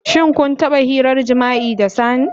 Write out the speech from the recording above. Shin kun taba hirar jima'i da sani?